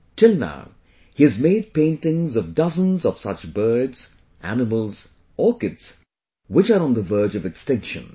Till now he has made paintings of dozens of such birds, animals, orchids, which are on the verge of extinction